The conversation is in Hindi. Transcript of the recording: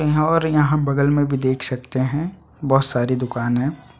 यहाँ और यहाँ बगल में भी देख सकते है बहुत सारी दुकान है।